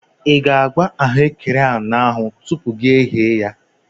Ị ga-agba ahụ ekere ahụ n'anụ tupu gị eyee ya?